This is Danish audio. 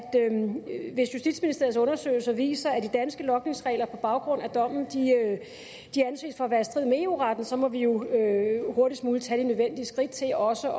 hvis justitsministeriets undersøgelser viser at de danske logningsregler på baggrund af dommen anses for at være i strid med eu retten så må vi jo hurtigst muligt tage de nødvendige skridt til også